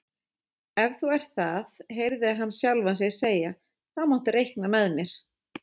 Ef þú ert það heyrði hann sjálfan sig segja, þá máttu reikna með mér